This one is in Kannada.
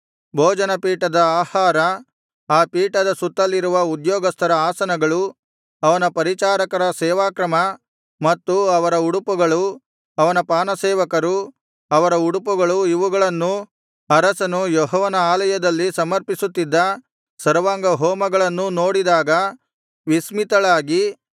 ಭೋಜನ ಪೀಠದ ಆಹಾರ ಆ ಪೀಠದ ಸುತ್ತಲಿರುವ ಉದ್ಯೋಗಸ್ಥರ ಆಸನಗಳು ಅವನ ಪರಿಚಾರಕರ ಸೇವಾಕ್ರಮ ಮತ್ತು ಅವರ ಉಡುಪುಗಳು ಅವನ ಪಾನಸೇವಕರು ಅವರ ಉಡುಪುಗಳು ಇವುಗಳನ್ನೂ ಅರಸನು ಯೆಹೋವನ ಆಲಯದಲ್ಲಿ ಸಮರ್ಪಿಸುತ್ತಿದ್ದ ಸರ್ವಾಂಗ ಹೋಮಗಳನ್ನೂ ನೋಡಿದಾಗ ವಿಸ್ಮಿತಳಾಗಿ